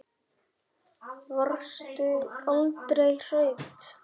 Varstu aldrei hrædd?